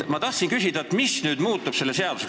Ma tahtsin küsida, mis nüüd selle seadusega muutub.